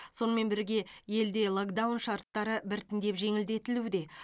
сонымен бірге елде локдаун шарттары біртіндеп жеңілдетілуде